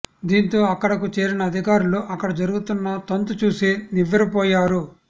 దీంతో అక్కడకు చేరిన అధికారులు అక్కడ జరుగుతున్న తంతు చూసి నివ్వెరపోయారు